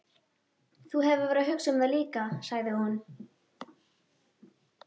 Þú hefur verið að hugsa um það líka, sagði hún.